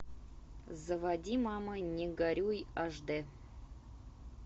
заводи мама не горюй аш дэ